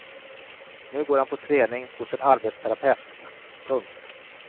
Nu går han på träning hos en arbetsterapeut. punkt